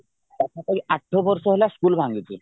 ପାଖ ପାଖି ଆଠ ବର୍ଷ ହେଲା ସ୍କୁଲ ଭାଙ୍ଗିଛି